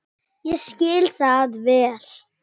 Ég skil það vel.